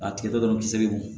A tigɛ tɔ bi se